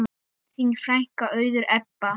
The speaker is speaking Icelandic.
Þín frænka, Auður Ebba.